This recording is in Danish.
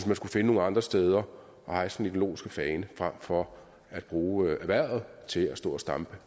man skulle finde nogle andre steder at hejse den ideologiske fane frem for at bruge erhvervet til at stå og stampe